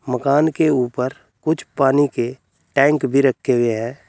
मकान के ऊपर कुछ पानी के टैंक भी रखे हुए हैं।